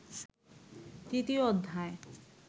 তৃতীয় অধ্যায়